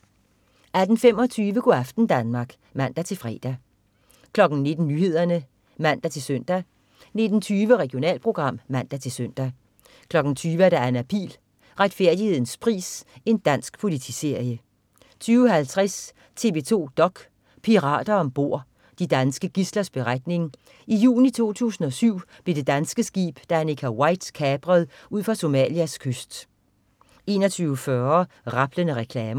18.25 Go' aften Danmark (man-fre) 19.00 Nyhederne (man-søn) 19.20 Regionalprogram (man-søn) 20.00 Anna Pihl. Retfærdighedens pris. Dansk politiserie 20.50 TV 2 dok.: Pirater om bord. De danske gidslers beretning. I juni 2007 blev det danske skib Danica White kapret ud for Somalias kyst 21.40 Rablende reklamer